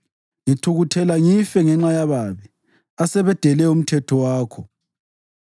Ngithukuthela ngife ngenxa yababi, asebedele umthetho wakho.